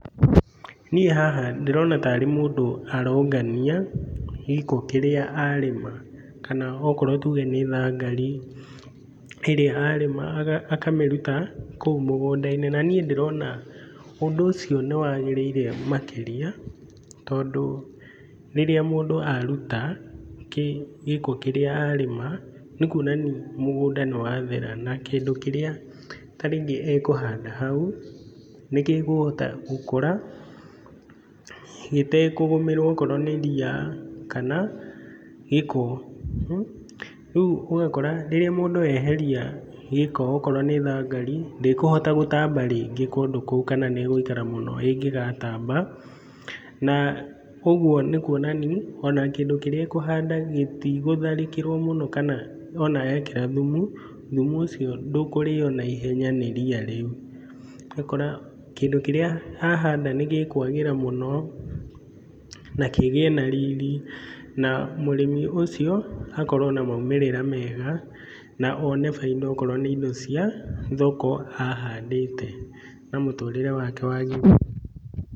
Niĩ haha ndĩrona ta rĩ mũndũ arongania gĩko kĩrĩa arĩma, kana okorwo tuge nĩ thangari ĩrĩa arĩma, akamĩruta kũu mũgũnda-inĩ, na niĩ ndĩrona ũndũ ũcio nĩ wagĩríĩre makĩria, tondũ rĩrĩa mũndũ aruta gĩko kĩrĩa arĩma nĩ kuonania mũgũnda nĩ wathera na kĩndũ kĩrĩa ta rĩngĩ ekũhanda hau, nĩ gĩkũhota gũkũra gĩtekũgũmĩrwo okorwo nĩ ria kana gĩko. Rĩu ũgakora rĩrĩa mũndũ eheria gĩko, okorwo nĩ thangari, ndĩkũhota gũtamba rĩngĩ kũndũ kũu, kana nĩ ĩgũikara mũno ĩngĩgatamba, na ũguo nĩ kuonania o na kĩndũ kĩrĩa ekũhandaga gĩtigũtharĩkĩrwo mũno, kana ona ekĩra thumu, thumu ũcio ndũkũrĩo na ihenya nĩ ria rĩu. ũgakora kĩndũ kĩrĩa ahanda nĩ gĩkwagĩra mũno na kĩgĩe na riri, na mũrĩmi ũcio akorwo na maumĩrĩra mega, na one bainda okorwo nĩ indo cia thoko ahandĩte, na mũtũrĩre wake wagĩrĩre.